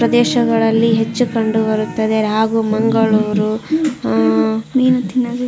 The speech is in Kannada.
ಪ್ರದೇಶಗಳಲ್ಲಿ ಹೆಚ್ಚು ಕಂಡು ಬರುತ್ತದೆ ಹಾಗು ಮಾನಗಳೂರು ಅಅ ಮೀನು ತಿನ್ನೋದೇ --